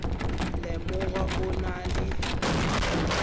le mang o na le